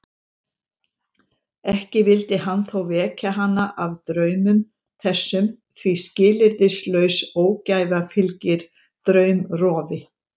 Ekki vildi hann þó vekja hana af draumum þessum því skilyrðislaus ógæfa fylgir draumrofi.